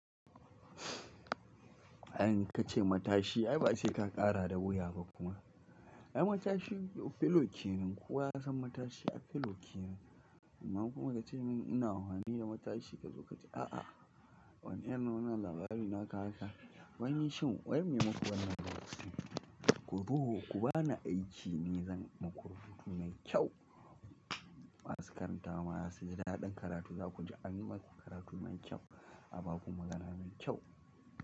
Idan ka ce matashi ai ba sai ka ƙara da wuya ba kuma. Ai matashi fellow kenan. Kowa ya san matashi ai fellow kenan. Amma kuma ka ce min ina amfani da matashi ka zo ka ce a'a wani irin nuna labari na ka haka. Waini shin? Wane mako wannan ba wasu. Ku zo ku bani aiki ni zan muku rubutu mai kyau. Masukaran tawa ya sayi daɗin karatu za ku ji an yi maku karatu mai kyau, a ba ku magana mai kyau.